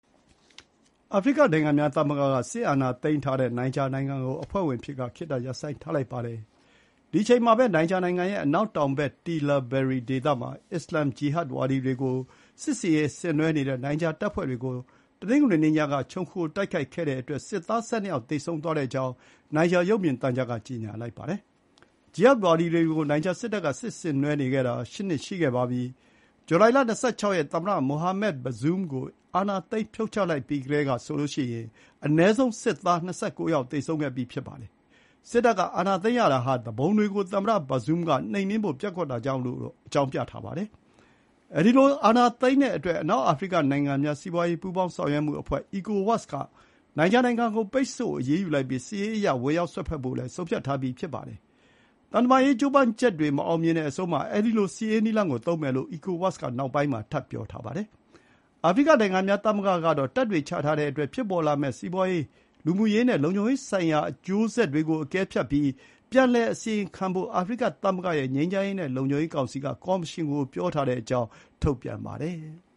အာဖရိကနိုင်ငံများသမဂ္ဂက စစ်အာဏာသိမ်းထားတဲ့နိုင်ဂျာနိုင်ငံကို အဖွဲ့ဝင်အဖြစ်က ခေတ္တ ရပ်ဆိုင်းထားလိုက်ပါတယ်။ ဒီအချိန်မှာပဲ နိုင်ဂျာနိုင်ငံရဲ့ အနောက်တောင်ဘက် တီလာဘယ်ရီ Tillaberi ဒေသမှာ အစ္စလာမ် ဂျီဟတ်ဝါဒီတွေကို စစ်ဆင်ရေးဆင်နွှဲနေတဲ့နိုင်ဂျာတပ်ဖွဲ့တွေကို တနင်္ဂနွေနေ့ညက ခြုံခို တိုက်ခိုက်ခဲ့တဲ့အတွက် စစ်သား ၁၂ ယောက် သေဆုံးသွားကြောင်း နိုင်ဂျာရုပ်မြင်သံကြားက ကြေညာလိုက်ပါတယ်။ ဂျီဟတ်ဝါဒီတွေကို နိုင်ဂျာစစ်တပ်က စစ်ဆင်နွှဲနေတာ ရှစ်နှစ်ရှိခဲ့ပါပြီ။ ဇူလိုင်လ ၂၆ ရက် သမ္မတ မိုဟာမက် ဘဇွန်း Mohamed Bazoum ကို အာဏာသိမ်း ဖြုတ်ချလိုက်ပြီးကတည်းကဆိုရင် အနည်းဆုံး စစ်သား ၂၉ ယောက် သေဆုံးခဲ့ပြီး ဖြစ်ပါတယ်။ စစ်တပ်က အာဏာသိမ်းရတာဟာ သူပုန်တွေကို သမ္မတ Bazoum က နှိမ်နင်းဖို့ ပျက်ကွက်တာကြောင့်လို့ အကြောင်းပြပါတယ်။ အဲဒီလိုအာဏာသိမ်းတဲ့အတွက် အနောက်အာဖရိကနိုင်ငံများ စီးပွါးရေးပူးပေါင်းဆောင်ရွက်မှုအဖွဲ့ ECOWAS က နိုင်ဂျာနိုင်ငံကို ပိတ်ဆို့အရေးယူလိုက်ပြီး စစ်ရေးအရ ဝင်ရောက်စွက်ဖက်ဖို့လည်း ဆုံးဖြတ်ထားပြီးဖြစ်ပါတယ်။ သံတမန်ရေး ကြိုးပမ်းချက်တွေ မအောင်မြင်တဲ့အဆုံး အဲဒီလို စစ်ရေးနည်းလမ်းကိုသုံးမယ်လို့ ECOWAS က နောက်ပိုင်းမှာ ထပ်ပြောပါတယ်။ အာဖရိကသမဂ္ဂကတော့ တပ်တွေချထားတဲ့အတွက် ဖြစ်ပေါ်လာမယ့်စီးပွါးရေး၊ လူမှုရေးနဲ့လုံခြုံရေးဆိုင်ရာ အကျိုးဆက်တွေကိုအကဲဖြတ်ပြီး ပြန်လည်အစီရင်ခံ ဖို့ အာဖရိကသမဂ္ဂရဲ့ ငြိမ်းချမ်းရေးနဲ့ လုံခြုံရေး ကောင်စီက ကော်မရှင်ကို ပြောထားကြောင်းထုတ်ပြန်ပါတယ်။